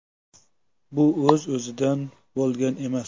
Bu o‘z-o‘zidan bo‘lgan emas.